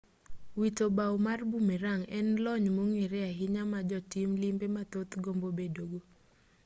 wito bao mar bumerang' en lony mong'ere ahinya ma jotim limbe mathoth gombo bedogo